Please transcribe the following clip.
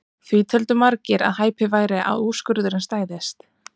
Því töldu margir að hæpið væri að úrskurðurinn stæðist.